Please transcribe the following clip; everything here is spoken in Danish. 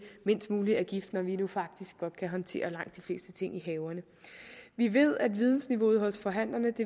mindst mulig gift når vi nu faktisk godt kan håndtere langt de fleste ting i haverne vi ved at vidensniveauet hos forhandlerne